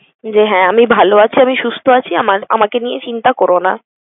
যে হ্যাঁ আমি ভালো আছি, আমি সুস্থ আছি, আমার~ আমাকে নিয়ে চিন্তা করো না।